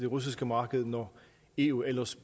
russiske marked når eu ellers